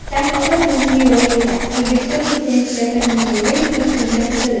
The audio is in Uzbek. Shahnoza Mirziyoyeva O‘zbekiston Prezidenti Shavkat Mirziyoyevning kenja qizidir.